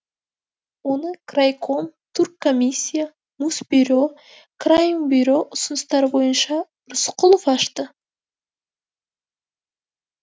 оны крайком турккомиссия мусбюро крайинбюро ұсыныстары бойынша рысқұлов ашты